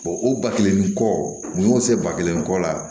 o ba kelenin kɔ u y'o se ba kelen ko la